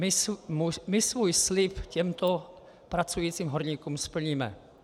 My svůj slib těmto pracujícím horníkům splníme.